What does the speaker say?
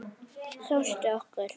Kjóstu okkur.